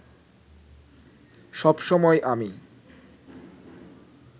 সব সময় আমি